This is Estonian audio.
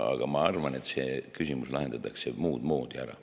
Aga ma arvan, et see küsimus lahendatakse muud moodi ära.